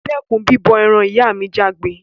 Dẹ́kun bíbọ eran! ìyá mi jágbé